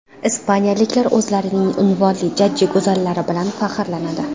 Ispaniyaliklar o‘zlarining unvonli jajji go‘zallari bilan faxrlanadi.